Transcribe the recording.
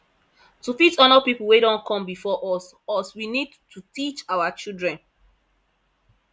to fit honor pipo wey don come before us us we need to teach our children